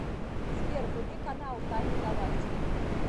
сбер вруби канал тайны галактики